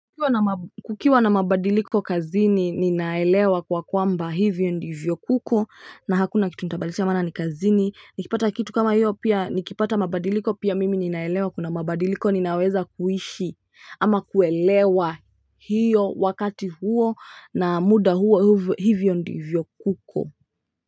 Kukiwa na mabadiliko kazini ninaelewa kwa kwamba hivyo ndivyo kuko na hakuna kitu nitabadilisha maana ni kazini nikipata kitu kama hiyo pia nikipata mabadiliko pia mimi ninaelewa kuna mabadiliko ninaweza kuishi ama kuelewa hiyo wakati huo na muda huo hivyo ndivyo kuko.